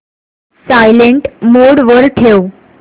silent mode वर ठेव